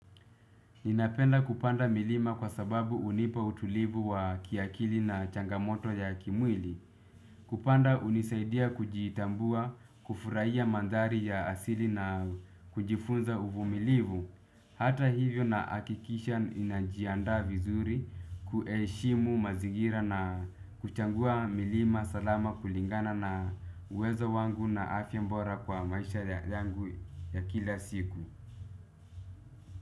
Ninapenda kupanda milima kwa sababu unipa utulivu wa kiakili na changamoto ya kimwili. Kupanda unisaidia kujitambua, kufuraiya mandhari ya asili na kujifunza uvumilivu. Hata hivyo na akikisha ninajiandaa vizuri kuheshimu mazigira na kuchangua milima salama kulingana na uwezo wangu na afya mbora kwa maisha yangu ya kila siku.